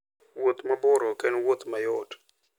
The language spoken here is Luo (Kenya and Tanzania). Wuoth mabor ok en wuoth mayot.